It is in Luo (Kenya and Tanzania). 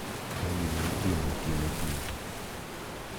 Ma gima itimo otieno tulu.